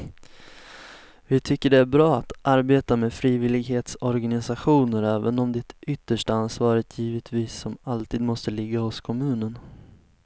Vi tycker att det är bra att samarbeta med frivillighetsorganisationer även om det yttersta ansvaret givetvis som alltid måste ligga hos kommunen.